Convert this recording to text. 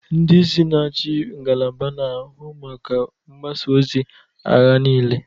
Ndị isi na-achị ngalaba na-ahụ maka mgbasa ozi agha niile.